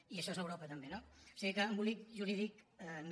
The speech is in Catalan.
i això és europa també no o sigui que embolic jurídic no